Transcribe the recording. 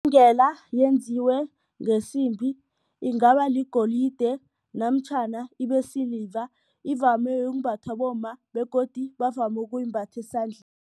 Ibhengela yenziwe ngesimbi ingaba ligolide namtjhana ibesiliva ivame ukumbathwa bomma begodu bavame ukuyimbatha esandleni.